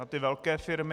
Na ty velké firmy.